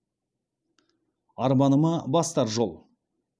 арманыма бастар жол